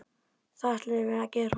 Það ætlum við að gera.